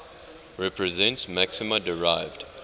represents maxima derived